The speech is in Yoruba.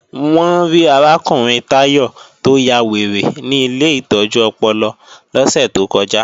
Wọ́n rí arákùnrin Táyọ̀ tó ya wèrè ní ilé ìtọ́jú ọpọlọ lọ́sẹ̀ tó kọjá